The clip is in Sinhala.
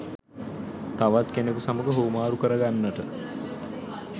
තවත් කෙනෙකු සමග හුවමාරු කර ගන්නට